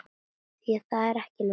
Því það er ekki nóg.